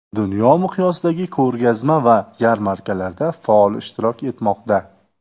Dunyo miqyosidagi ko‘rgazma va yarmarkalarda faol ishtirok etmoqda.